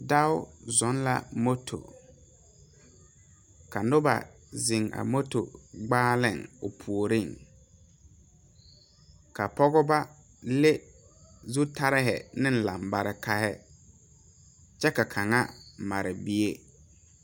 dao zoo la moto ka noba zeŋ a moto gbaale o puori ka pɔge ba leŋ zutaare ne lanbaare kyɛ kaŋa g meŋ mare bie